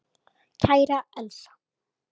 Kæra Elsa.